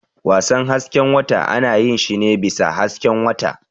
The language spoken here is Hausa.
Wasan hasken wata ana yin shi ne bisa hasken wata.